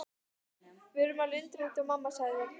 Við urðum alveg undrandi og mamma sagði.